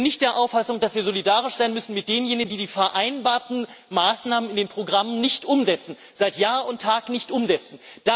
Ich bin nicht der Auffassung, dass wir solidarisch sein müssen mit denjenigen, die die vereinbarten Maßnahmen in den Programmen nicht umsetzen, seit Jahr und Tag nicht umsetzen.